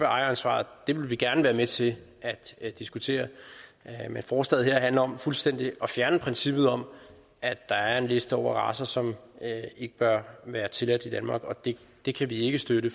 ejeransvaret vil vi gerne være med til at diskutere men forslaget her handler om fuldstændig at fjerne princippet om at der er en liste over racer som ikke bør være tilladt i danmark og det det kan vi ikke støtte